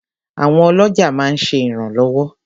Àwọn ọlọ́jà máa ń ṣe ìrànlọ́wọ́.